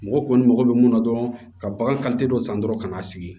Mɔgɔ kɔni mago bɛ mun na dɔrɔn ka bagan dɔ san dɔrɔn ka n'a sigi